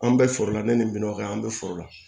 An bɛ foro la ne ni min ka kan an bɛ foro la